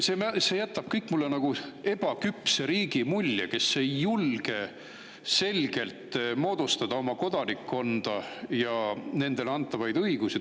See kõik jätab mulle nagu ebaküpse riigi mulje, kes ei julge selgelt oma kodanikkonda ja nendele antavaid õigusi.